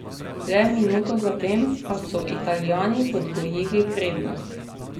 Le minuto zatem pa so Italijani podvojili prednost.